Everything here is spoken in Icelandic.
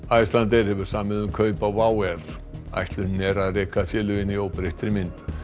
Icelandair hefur samið um kaup á WOW ætlunin er að reka félögin í óbreyttri mynd